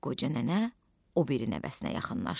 Qoca nənə o biri nəvəsinə yaxınlaşdı.